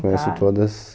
Conheço todas.